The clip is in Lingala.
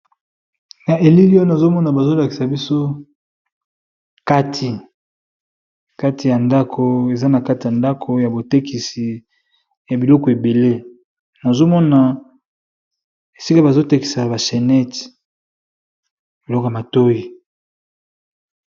Na elili oyo nazomona bazolakisa biso kati, kati ya ndako eza na kati ya ndako ya botekisi ya biloko ebele nazomona esika bazo tekisa ba chaînette biloko ya matoyi.